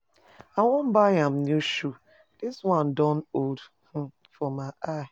I wan buy am new shoe, dis one don old um for my eye